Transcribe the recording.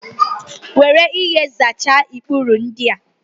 Were ihe bịa zachara ikpuru ndịa!